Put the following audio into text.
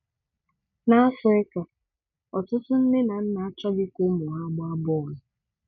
N'Afịrịka, ọtụtụ nne na nna achọghị ka ụmụ ha gbaa bọọlụ.